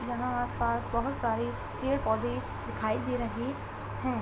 यहाँ आसपास बहोत सारे पेड़ पौधे दिखाई दे रहे हैं।